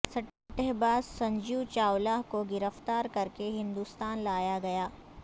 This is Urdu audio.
سٹہ باز سنجیو چاولہ کو گرفتار کر کے ہندوستان لایا گیا